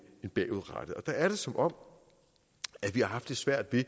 bagudrettet der er det som om vi har haft lidt svært ved